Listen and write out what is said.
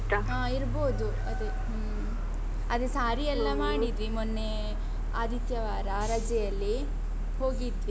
ಹ ಇರ್ಬೋದು. ಅದೇ ಹ್ಮ್. ಅದೇ ಸಾರಿಯೆಲ್ಲಾ ಮಾಡಿದ್ವಿ ಮೊನ್ನೆ ಆದಿತ್ಯವಾರ ರಜೆಯಲ್ಲಿ ಹೋಗಿದ್ವಿ.